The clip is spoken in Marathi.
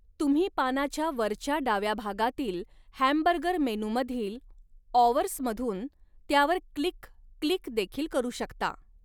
तुम्ही पानाच्या वरच्या डाव्या भागातील हॅमबर्गर मेनूमधील 'ऑवर्स'मधुन त्यावर क्लिक क्लिकदेखिल करू शकता.